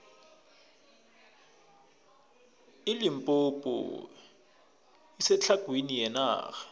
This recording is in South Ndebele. ilimpompo isetlhagwini yenarha